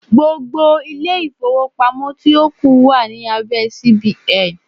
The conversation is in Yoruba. Gbogbo ilé-ìfowópamọ́ tí ó kù wà ní abẹ́ CBN.